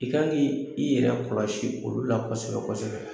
I kan ki i yɛrɛ kɔlɔsi olu la kɔsɛbɛ kɔsɛbɛ.